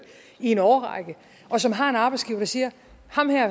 i en årrække og som har en arbejdsgiver der siger